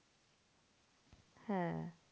হ্যাঁ